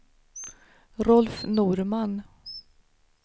Rolf Norman